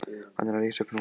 Hann er að rísa upp núna.